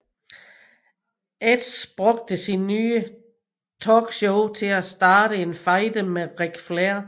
Edge brugte sit nye talkshow til at starte en fejde med Ric Flair